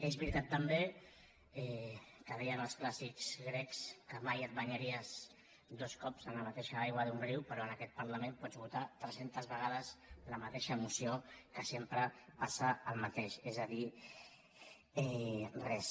és veritat també que deien els clàssics grecs que mai et banyaries dos cops a la mateixa aigua d’un riu però en aquest parlament pots votar tres centes vegades la mateixa moció que sempre passa el mateix és a dir res